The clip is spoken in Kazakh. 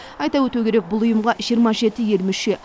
айта өту керек бұл ұйымға жиырма жеті ел мүше